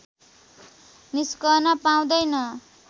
निस्कन पाउँदैन